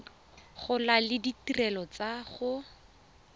gola le ditirelo tsa go